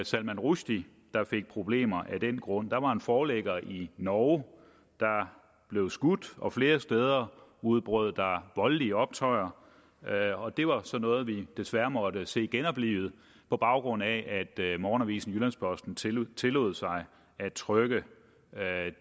salman rushdie der fik problemer af den grund der var en forlægger i norge der blev skudt og flere steder udbrød der voldelige optøjer og det var så noget vi desværre måtte se genoplivet på baggrund af at morgenavisen jyllands posten tillod tillod sig at trykke